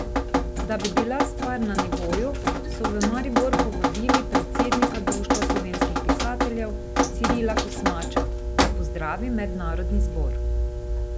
Da bi bila stvar na nivoju, so v Maribor povabili predsednika Društva slovenskih pisateljev, Cirila Kosmača, da pozdravi mednarodni zbor.